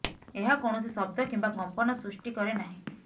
ଏହା କୌଣସି ଶବ୍ଦ କିମ୍ବା କମ୍ପନ ସୃଷ୍ଟି କରେ ନାହିଁ